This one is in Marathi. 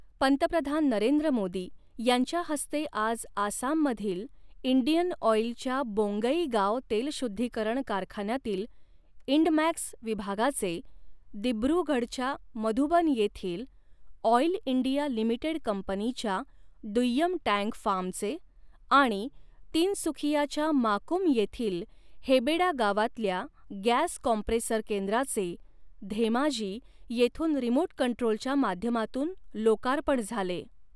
पंतप्रधान नरेंद्र मोदी यांच्या हस्ते आज आसाममधील इंडियन ऑईलच्या बोंगईगांव तेलशुद्धीकरण कारखान्यातील इंडमॅक्स विभागाचे, दिब्रुगढच्या मधुबन येथील ऑईल इंडिया लिमिटेड कंपनीच्या दुय्यम टँक फार्मचे आणि तिनसुखियाच्या माकूम येथील हेबेडा गावातल्या गॅस कॉम्प्रेसर केंद्राचे, धेमाजी येथून रिमोट कंट्रोलच्या माध्यमातून लोकार्पण झाले.